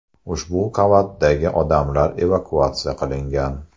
Ushbu qavatdagi odamlar evakuatsiya qilingan.